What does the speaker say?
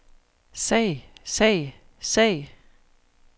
sag sag sag